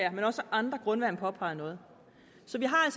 at han også af andre grunde vil påpege noget så vi har